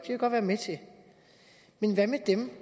vi godt være med til men hvad med dem